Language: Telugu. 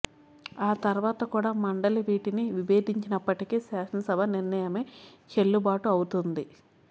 ఆ తర్వాత కూడా మండలి వీటిని విభేదించినప్పటికీ శాసనసభ నిర్ణయమే చెల్లుబాటు అవుతుంది